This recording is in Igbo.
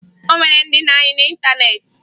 O nwere ndị na-ayị n'ịntaneetị